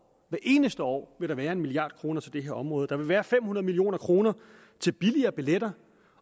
eneste år vil der være en mia kroner til det her område der vil være fem hundrede million kroner til billigere billetter